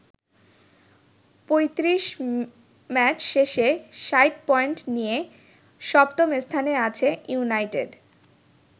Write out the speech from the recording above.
৩৫ match শেষে ৬০ point নিয়ে সপ্তম স্থানে আছে ইউনাইটেড।